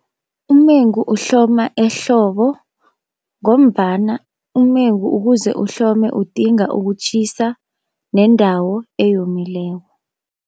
Umengu uhloma ehlobo, ngombana umengu ukuze uhlome udinga ukutjhisa nendawo eyomileko.